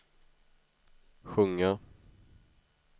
sjunga